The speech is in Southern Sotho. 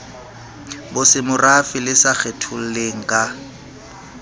bosemorafe le sa kgetholleng ka